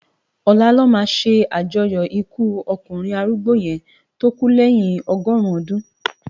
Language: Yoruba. Òlá lò má sé ájòyò ikú òkúnrin árúgbó yèn tó kú lèyin ọgọrun òdún